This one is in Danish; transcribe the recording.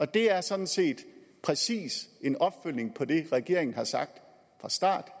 det er sådan set præcis en opfølgning på det regeringen har sagt fra start